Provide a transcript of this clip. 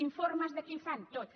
informes de què fan tots